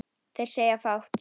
Þeir segja fátt